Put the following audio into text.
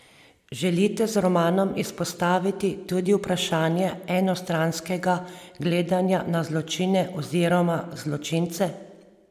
Želite z romanom izpostaviti tudi vprašanje enostranskega gledanja na zločine oziroma zločince?